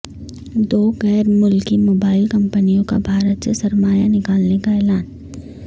دو غیر ملکی موبائل کمپنیوں کا بھارت سے سرمایہ نکالنے کا اعلان